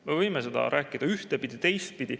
Me võime seda rääkida ühtpidi ja teistpidi.